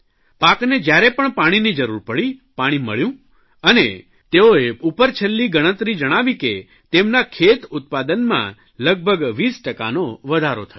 પાકને જયારે પણ પાણીની જરૂર પડી પાણી મળ્યું અને તેઓની ઉપરછલ્લી ગણતરી જણાવી કે તેમના ખેતઉત્પાદનમાં લગભગ 20 ટકાનો વધારો થયો